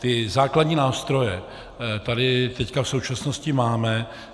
Ty základní nástroje tady teď v současnosti máme.